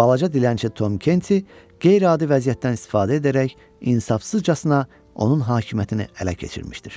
balaca dilənçi Tom Kenti qeyri-adi vəziyyətdən istifadə edərək insafsızcasına onun hakimiyyətini ələ keçirmişdir.